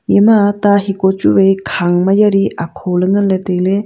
ema ta heko chu vai khang ma yali akho ley nganley tailey.